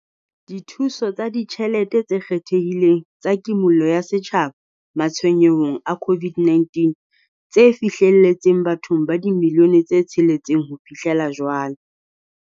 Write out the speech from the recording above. Dithuso tsa Ditjhelete tse Kgethehileng tsa Kimollo ya Setjhaba Matshwenyehong a COVID-19, tse fihlelletseng bathong ba dimilione tse tsheletseng ho fihlela jwale.